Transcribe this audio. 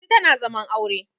Lanti tana zaman aure